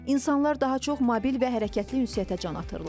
İnsanlar daha çox mobil və hərəkətli ünsiyyətə can atırlar.